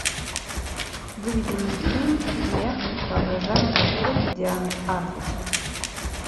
выведи мне фильм мех воображаемый портрет дианы арбус